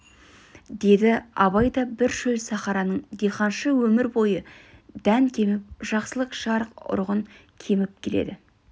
деді абай да бір шөл сахараның диханшысы өмір бойы дән кеміп жақсылық жарық ұрығын көміп келеді